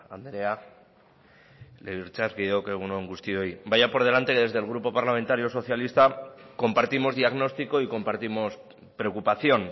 andrea legebiltzarkideok egun on guztioi vaya por delante que desde el grupo parlamentario socialista compartimos diagnóstico y compartimos preocupación